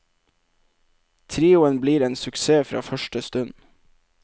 Trioen blir en suksess fra første stund.